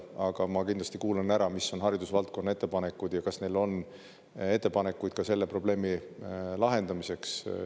Aga ma kindlasti kuulan ära, mis on haridusvaldkonna ettepanekud ja kas neil on ettepanekuid ka selle probleemi lahendamiseks.